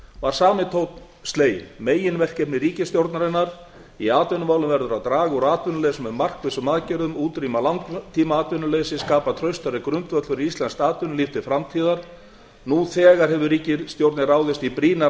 var sami tónn sleginn meginverkefni ríkisstjórnarinnar í atvinnumálum verður að draga úr atvinnuleysinu með markvissum aðgerðum útrýma langtímaatvinnuleysi skapa traustari grundvöll fyrir íslenskt atvinnulíf til framtíðar nú þegar hefur ríkisstjórnin ráðist í brýnar